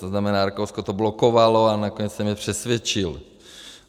To znamená, Rakousko to blokovalo, a nakonec jsem je přesvědčil.